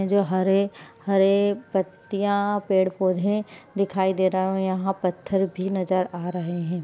ये जो हरे हरे पत्तिया पेड़ पोधे दिखाई दे रहा है यहाँ पत्थर भी नजर आ रहे है।